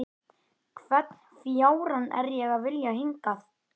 Hvern fjárann er ég að vilja hingað?